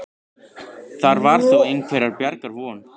Þar var þó einhverrar bjargar von.